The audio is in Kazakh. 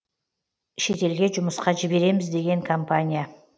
шетелге жұмысқа жібереміз деген компания